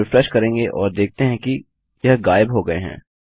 अब हम रिफ्रेश करेंगे और देखते हैं कि यह गायब हो गए हैं